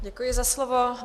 Děkuji za slovo.